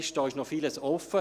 Hier ist noch vieles offen.